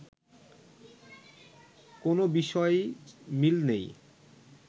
কোনো বিষয়েই মিল নেই